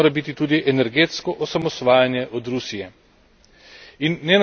Ena od prioritet mora biti tudi energetsko osamosvajanje od Rusije.